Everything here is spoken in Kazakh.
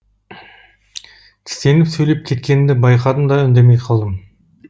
тістеніп сөйлеп кеткенімді байқадым да үндемей қалдым